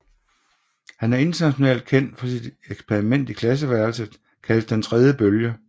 Han er internationalt kendt for sit eksperiment i klasseværelset kaldet Den tredje bølge